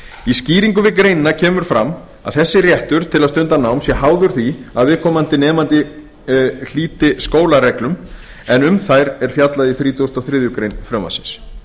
í skýringu greina kemur fram að þessi réttur til að stunda nám sé háður því að viðkomandi nemandi hlíti skólareglum en þær er fjallað í þrítugasta og þriðju greinar frumvarpsins